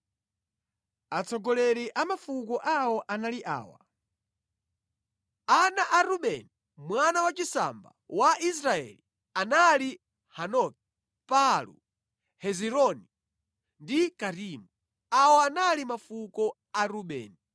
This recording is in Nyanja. Atsogoleri a mafuko awo anali awa: Ana a Rubeni mwana wachisamba wa Israeli anali Hanoki, Palu, Hezironi ndi Karimi. Awa anali mafuko a Rubeni.